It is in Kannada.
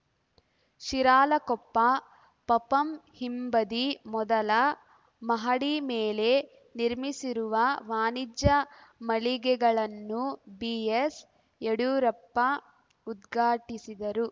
ಶಿರಾಳಕೊಪ್ಪ ಪಪಂ ಹಿಂಬದಿ ಮೊದಲ ಮಹಡಿ ಮೇಲೆ ನಿರ್ಮಿಸಿರುವ ವಾಣಿಜ್ಯ ಮಳಿಗೆಗಳನ್ನು ಬಿಎಸ್‌ ಯಡಿಯೂರಪ್ಪ ಉದ್ಘಾಟಿಸಿದರು